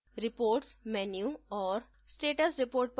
reports menu और status report पर click करें